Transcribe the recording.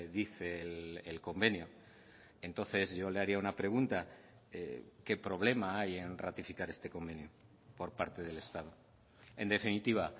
dice el convenio entonces yo le haría una pregunta qué problema hay en ratificar este convenio por parte del estado en definitiva